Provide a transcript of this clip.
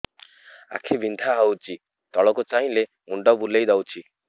ଆଖି ବିନ୍ଧା ହଉଚି ତଳକୁ ଚାହିଁଲେ ମୁଣ୍ଡ ବୁଲେଇ ଦଉଛି